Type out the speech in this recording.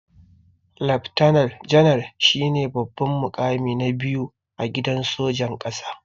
Leftana janar shine babban mukami na biyu a gidan sojan ƙasa.